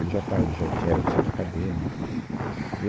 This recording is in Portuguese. Ele já estava, ele já tinha, era do centro acadêmico tudo. Eu